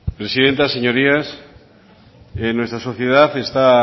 presidenta señorías en nuestra sociedad está